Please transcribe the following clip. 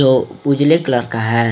वो purple colour का है।